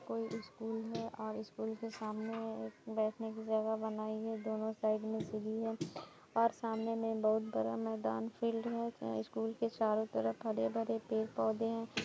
कोई स्कूल है और स्कूल के सामने एक बैठने की जगह बनाई हैं वहाँ साइड में सीडी हैं और सामने बहुत बड़ा मैदान खेलने उस स्कूल चारों तरफ हरे भरे पेड़ पौधे हैं।